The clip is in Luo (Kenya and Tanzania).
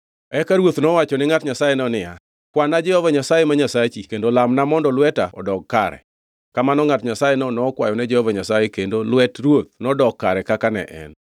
Eka ruoth nowacho ni ngʼat Nyasayeno niya, “Kwana Jehova Nyasaye ma Nyasachi kendo lamna mondo lweta odog kare.” Kamano ngʼat Nyasayeno nokwayone Jehova Nyasaye kendo lwet ruoth nodok kare kaka ne en.